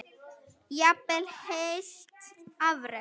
Jafnvel heilt afrek?